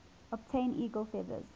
obtain eagle feathers